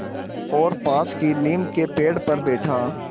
और पास की नीम के पेड़ पर बैठा